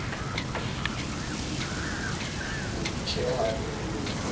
ne ba itjella bolokwe ba